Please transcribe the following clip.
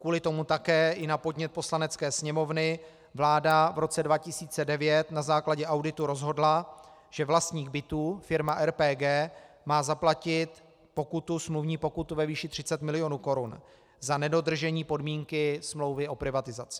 Kvůli tomu také i na podnět Poslanecké sněmovny vláda v roce 2009 na základě auditu rozhodla, že vlastník bytů, firma RPG, má zaplatit smluvní pokutu ve výši 30 milionů korun za nedodržení podmínky smlouvy o privatizaci.